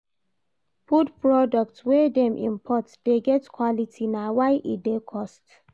Food products wey dem import dey get quality na why e dey cost.